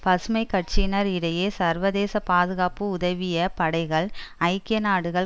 பசுமை கட்சியினர் இடையே சர்வதேச பாதுகாப்பு உதவிய படைகள் ஐக்கிய நாடுகள்